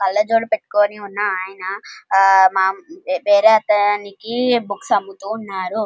ఒక ఆయన ఆహ్ ఆహ్ వేరే ఆతనికి బుక్స్ అమ్ముతున్నాడు --